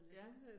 Ja